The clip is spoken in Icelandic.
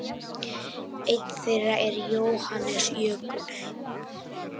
Einn þeirra er Jóhannes Jökull.